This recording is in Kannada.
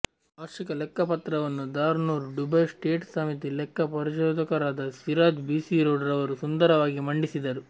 ವಾರ್ಷಿಕ ಲೆಕ್ಕ ಪಾತ್ರವನ್ನು ದಾರುನ್ನೂರ್ ದುಬೈ ಸ್ಟೇಟ್ ಸಮಿತಿ ಲೆಕ್ಕ ಪರಿಶೋದಕರಾದ ಸಿರಾಜ್ ಬಿಸಿ ರೋಡ್ ರವರು ಸುಂದರವಾಗಿ ಮಂಡಿಸಿದರು